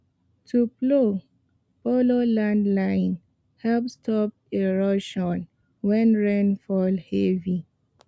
to plow follow land line help stop erosion when rain fall heavy